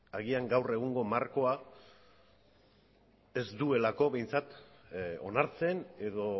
agian gaur egungo markoa ez duelako behintzat onartzen edo